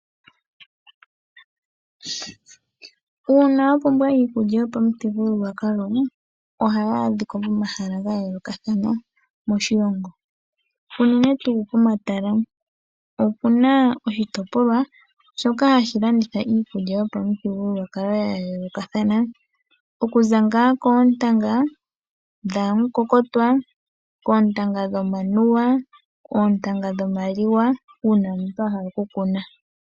Uuna wa pumbwa iikulya yopamuthigululwakalo ohayi adhika pomahala ga yoolokathana moshilongo unene tuu pomatala. Opu na oshitopolwa shoka hashi landitha iikulya yopa mu thigululwakalo ya yoolokothana okuza ngaa koontanga dhamu kokotwa, dhomanuwa nodhimaliwa uuna omuntu wahala okukuna.